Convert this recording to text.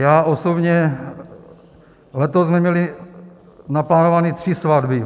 Já osobně, letos jsme měli naplánované tři svatby.